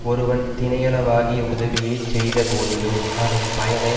ஒருவன் தினையளவாகிய உதவியைச் செய்த போதிலும் அதன் பயனை